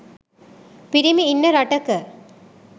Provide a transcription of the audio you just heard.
පිරිමි ඉන්න රටක